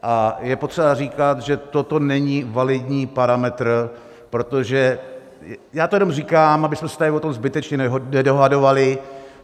A je potřeba říkat, že toto není validní parametr, protože já to jenom říkám, abychom se tady o tom zbytečně nedohadovali.